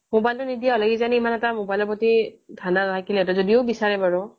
mobile টো নিদিয়া হ'লে কিজানি তাৰ mobile ৰ প্ৰতি ধান্দা নাথাকিলে হেঁতেন যদিওঁ বিচাৰে বাৰু